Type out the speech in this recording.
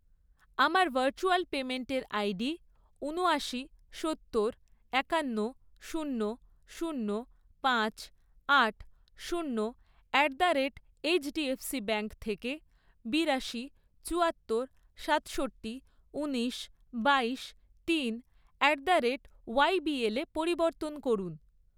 আমার ভার্চুয়াল পেমেন্টের আইডি উনআশি, সত্তর , একান্ন , শূন্য, শূন্য ,পাঁচ, আট , শূন্য at the rate HDFC bank থেকে বিরাশি, চুয়াত্তর, সাতষট্টি, উনিশ, বাইশ, তিন অ্যাট দ্য রেট ওয়াইবিএলে পরিবর্তন করুন।